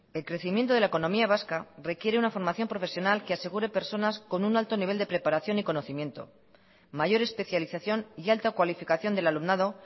el crecimiento de la economía vasca requiere una formación profesional que asegure personas con un alto nivel de preparación y conocimiento mayor especialización y alta cualificación del alumnado